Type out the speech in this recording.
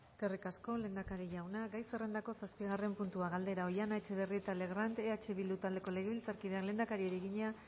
eskerrik asko lehendakari jauna gai zerrendako zazpigarren puntua galdera oihana etxebarrieta legrand eh bildu taldeko legebiltzarkideak lehendakariari egina